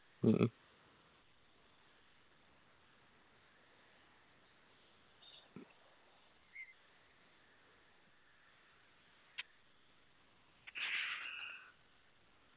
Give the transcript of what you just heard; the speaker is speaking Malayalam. മ്മ്